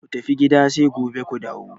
Ku tafi gida sai gobe ku dawo!